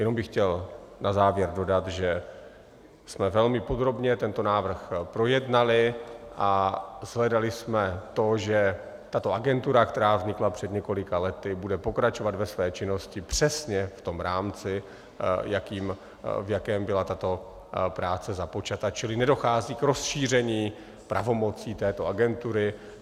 Jenom bych chtěl na závěr dodat, že jsme velmi podrobně tento návrh projednali a shledali jsme to, že tato agentura, která vznikla před několika lety, bude pokračovat ve své činnosti přesně v tom rámci, v jakém byla tato práce započata, čili nedochází k rozšíření pravomocí této agentury.